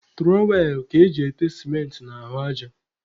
Tụrọwel ka eji ete sịmentị n'ahụ aja.